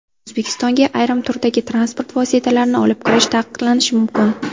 O‘zbekistonga ayrim turdagi transport vositalarini olib kirish taqiqlanishi mumkin.